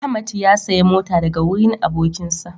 Ahmad ya saya mota daga wurin abokin shi